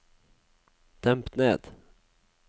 demp ned